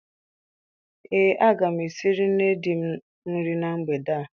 Ee, aga m esiri nne di m nri na mgbede a.